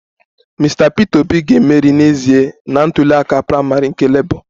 Mr Peter Obi ga-emeri n'ezie na ntuli aka praịmarị nke labour